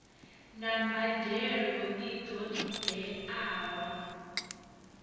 na mbadelo i ṱo ḓeaho